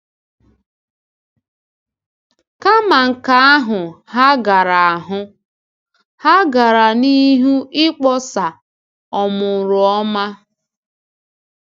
Kama nke ahụ, ha gara ahụ, ha gara n’ihu ịkpọsa “ọmụrụọma.”